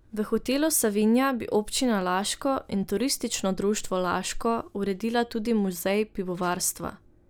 V Hotelu Savinja bi občina Laško in Turistično društvo Laško uredila tudi muzej pivovarstva.